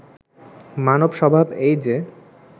মানব স্বভাব এই যে